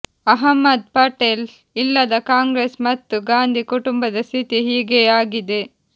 ಅಹ್ಮದ್ ಪಟೇಲ್ ಇಲ್ಲದ ಕಾಂಗ್ರೆಸ್ ಮತ್ತು ಗಾಂಧಿ ಕುಟುಂಬದ ಸ್ಥಿತಿ ಹೀಗೇ ಆಗಿದೆ